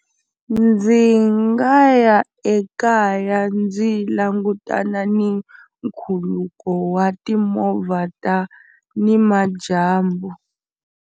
Ndzi nga ya ekaya ndzi langutana ni nkhuluko wa timovha ta nimadyambu.